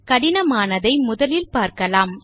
கடினமானதை முதலில் பார்க்கலாம்